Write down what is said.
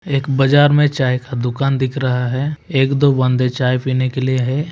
एक बाजार मे चाय का दुकान दिख रहा है एक दो बांदा चाय पिने केलिए है।